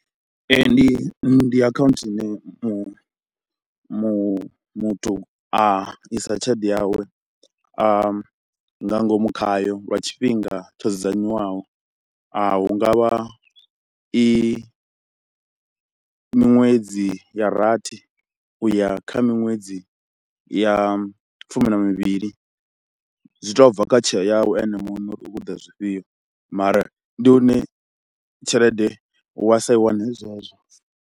Ee ndi ndi akhaunthu ine mu mu muthu a isa tshelede yawe nga ngomu khayo lwa tshifhinga tsho dzudzanyiwaho, hu nga vha i miṅwedzi ya rathi u ya kha miṅwedzi ya fumi na mivhili, zwi tou bva kha tsheo yau ene muṋe uri u khou ṱoḓa zwifhio mara ndi hune tshelede wa sa i wane zwezwo.